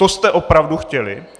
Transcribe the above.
To jste opravdu chtěli?